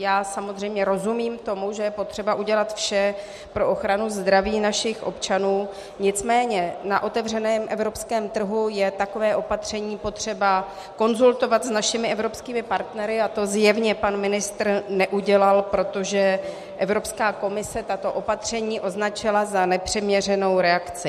Já samozřejmě rozumím tomu, že je potřeba udělat vše pro ochranu zdraví našich občanů, nicméně na otevřeném evropském trhu je takové opatření potřeba konzultovat s našimi evropskými partnery a to zjevně pan ministr neudělal, protože Evropská komise tato opatření označila za nepřiměřenou reakci.